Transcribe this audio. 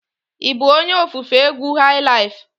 Ị bụ onye ofufe egwu highlife?